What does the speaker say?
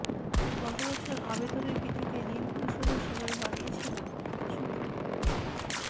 গত বছর আবেদনের ভিত্তিতে ঋণ পরিশোধের সময় বাড়িয়েছিল সুপ্রিম কোর্ট